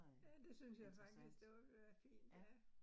Ja, det synes jeg faktisk, det ville være fint ja